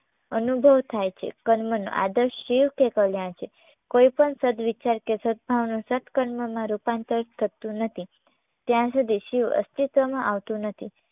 અનુભવ થાય છે કર્મનો આદર્શ શિવ કે કલ્યાણ છે. કોઈપણ સદ્વિચાર કે સદભાવના સત્કર્મમાં રૂપાંતર થતું નથી ત્યાં સુધી શિવ અસ્તિત્વમાં આવતું નથી